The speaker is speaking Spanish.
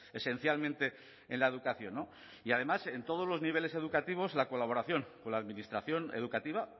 esencialmente en la educación y además en todos los niveles educativos la colaboración con la administración educativa